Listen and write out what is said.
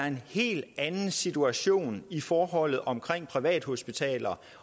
en helt anden situation i forholdet omkring privathospitaler